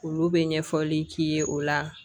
Olu bɛ ɲɛfɔli k'i ye o la